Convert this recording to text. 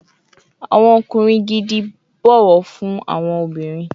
Awọn ọkunrin gidi bọwọ fun awọn obinrin